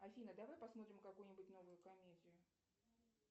афина давай посмотрим какую нибудь новую комедию